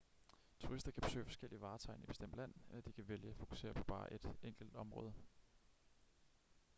turister kan besøge forskellige vartegn i et bestemt land eller de kan vælge at fokusere på bare et enkelt område